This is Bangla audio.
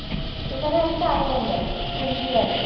সেখানে একটা island আছে হেনরি island